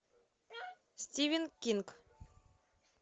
стивен кинг